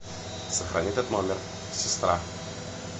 сохрани этот номер сестра